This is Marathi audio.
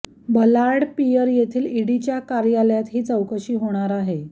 बलार्ड पिअर येथील ईडीच्या कार्यालयात ही चौकशी होणार आहे